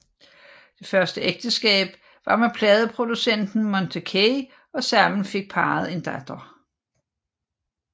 Det første ægteskab var med pladeproducenten Monte Kay og sammen fik parret en datter